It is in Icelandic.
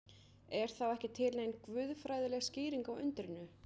Er þá ekki til nein guðfræðileg skýring á undrinu?